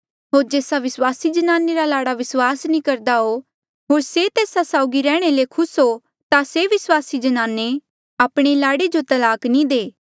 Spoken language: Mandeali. होर जेस्सा विस्वासी जनाने रा लाड़ा विस्वास नी करदा हो होर से तेस्सा साउगी रैहणे ले खुस हो ता से विस्वासी जनाने आपणे लाड़े जो तलाक नी दे